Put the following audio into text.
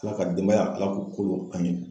Ala ka denbaya Ala k'u kolo an ye